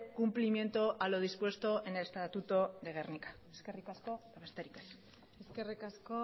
cumplimiento a lo dispuesto en el estatuto de gernika eskerrik asko besterik ez eskerrik asko